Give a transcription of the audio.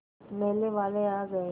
मेले वाले आ गए